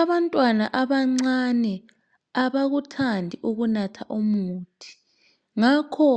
Abantwana abancane abakuthandi ukunatha imithi ngakho